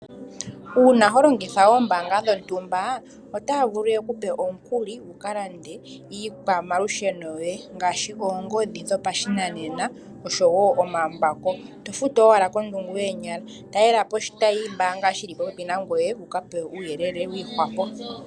Uuna holongitha oombanga dho ntumba, otaya vulu ye kupe omukuli, wu kalande iikwa malusheno yoye ngaashi oongodhi dho pa shinanena nosho wo omambako, to futu owala kondungu yoonyala. Ta lela po oshitayi sho mbaanga shili po pepi na ngoye wu ka pewe uuyele wiihwapo.